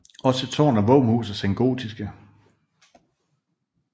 Også tårn og våbenhus er sengotiske